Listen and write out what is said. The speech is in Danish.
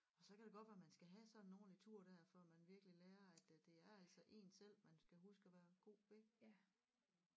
Så kan det godt være man skal have sådan en ordentlig tur der før man virkelig lærer at at det er altså en selv man skal huske at være god ved